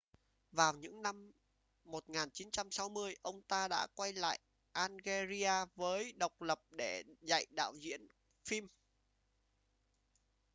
vào những năm 1960 ông ta đã quay lại algeria mới độc lập để dạy đạo diễn phim